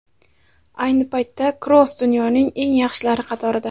Ayni paytda Kroos dunyoning eng yaxshilari qatorida.